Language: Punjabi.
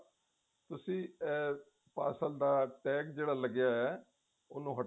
ਤੁਸੀਂ ਅਮ parcel ਦਾ ਅਮ ਤਾਗ ਜਿਹੜਾ ਲੱਗਿਆ ਹੋਇਆ ਉਹਨੂੰ